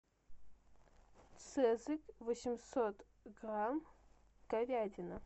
цезарь восемьсот грамм говядина